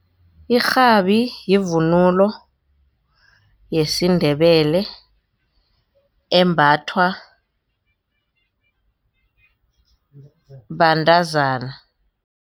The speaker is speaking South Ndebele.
Irhabi yivunulo yesiNdebele embathwa bantazana.